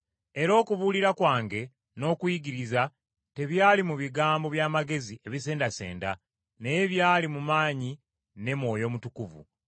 Era okubuulira kwange n’okuyigiriza tebyali mu bigambo bya magezi ebisendasenda, naye byali mu maanyi ne Mwoyo Mutukuvu,